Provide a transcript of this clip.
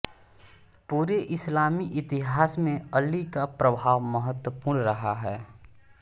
पूरे इस्लामी इतिहास में अली का प्रभाव महत्वपूर्ण रहा है